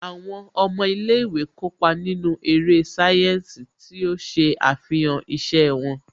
Àwọn ọmọ ilé ìwé kópa nínú eré sáyẹ́ǹsì tí ó ṣe àfihàn iṣẹ́ wọn